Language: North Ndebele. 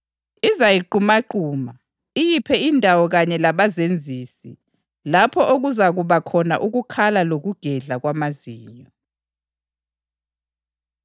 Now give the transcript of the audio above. Izayiqumaquma, iyiphe indawo kanye labazenzisi, lapho okuzakuba khona ukukhala lokugedla kwamazinyo.”